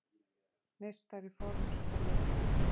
meistari forms og lita.